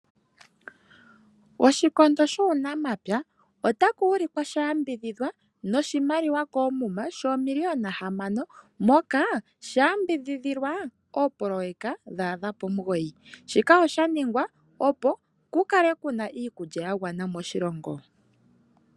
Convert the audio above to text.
Oshikondo shuunamapya ota ku wilikwa shayambidhidhwa noshimaliwa koomuma, shoomiliyona hamano, moka sha yambidhidhilwa ooproyeka dha adha pomugoyi, shika oshaningwa opo ku kale kuna iikulya yagwana moshilongo.